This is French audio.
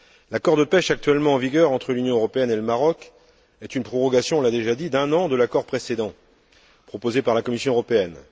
L'accord de pêche actuellement en vigueur entre l'Union européenne et le Maroc est une prorogation nous l'avons déjà dit d'un an de l'accord précédent, proposée par la Commission européenne.